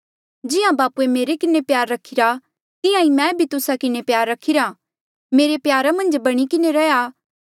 जिहां बापूए मेरे किन्हें प्यार रखिरा तिहां ईं मैं भी तुस्सा किन्हें प्यार रखिरा मेरे प्यारा मन्झ बणी किन्हें रैंहयां